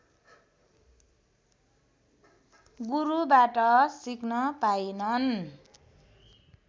गुरुबाट सिक्न पाइनन्